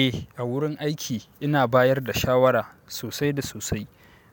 Eh, a wurin aiki ina bayar da shawara sosai da sosai.